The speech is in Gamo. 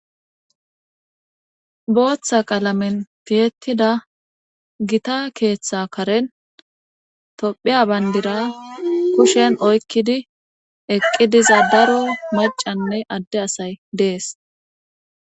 Boooththa qalamen piyettida gita keeththa karen tophiya bayndira kushen oykkidi eqqi diza daro macanne adde asay dees